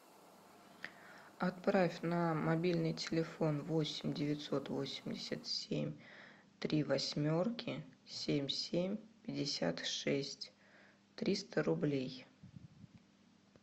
отправь на мобильный телефон восемь девятьсот восемьдесят семь три восьмерки семь семь пятьдесят шесть триста рублей